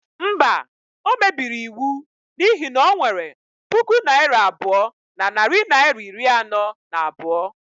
Mba, o mebiri iwu n'ihi na o nwere puku naira abụọ na narị naịra iri anọ na abụọ.